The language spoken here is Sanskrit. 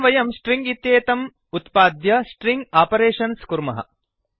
एवं वयं स्ट्रिङ्ग् इत्येतम् उत्पाद्य स्ट्रिङ्ग् आपरेषन्स् कुर्मः